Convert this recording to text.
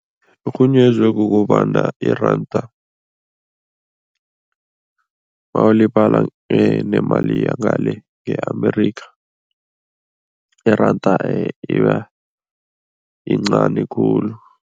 Irhunyezwe kukobana iranda mawulibala nemali yangale nge-America, iranda ibayincani khulu.